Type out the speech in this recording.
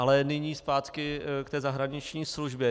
Ale nyní zpátky k té zahraniční službě.